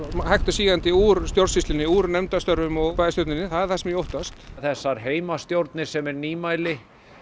hægt og sígandi úr stjórnsýslunni úr nefndarstörfum og bæjarstjórninni það það sem ég óttast þessar heimastjórnir sem er nýmæli